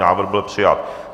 Návrh byl přijat.